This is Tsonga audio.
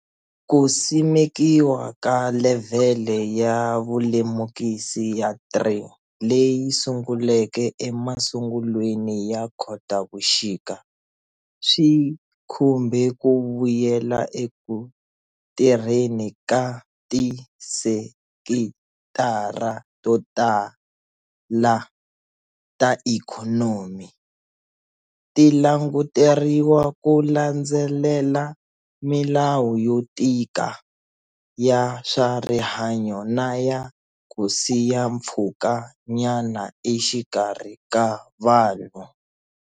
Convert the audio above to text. Ku simekiwa ka levhele ya vulemukisi ya 3 leyi sunguleke emasungulweni ya Khotavuxika, swi khumbe ku vuyela eku tirheni ka tisekitara to tala ta ikhonomi, ti languteriwa ku landzelela milawu yo tika ya swarihanyo na ya ku siya mpfhukanyana exikarhi ka vanhu.